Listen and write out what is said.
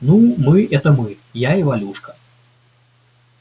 ну мы это мы я и валюшка